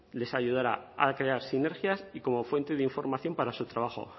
les ayudará a crear sinergias y como fuente de información para su trabajo